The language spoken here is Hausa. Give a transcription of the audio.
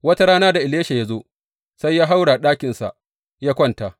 Wata rana da Elisha ya zo, sai ya haura ɗakinsa ya kwanta.